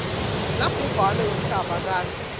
labhubhane wemhlaba kantsi